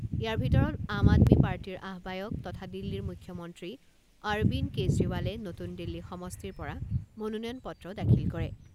ইয়াৰ ভিতৰত আম আদমি পাৰ্টিৰ আহবায়ক তথা দিল্লীৰ মুখ্যমন্ত্ৰী অৰবিন্দ কেজৰিৱালে নতুন দিল্লী সমষ্টিৰ পৰা মনোনয়ন পত্ৰ দাখিল কৰে।